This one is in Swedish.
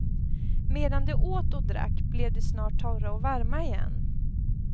Medan de åt och drack, blev de snart torra och varma igen.